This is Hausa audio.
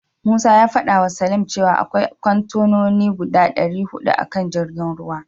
Musa ya fadawa Salim cewa akwai kontenoni guda dari hudu a kan jirgin ruwan.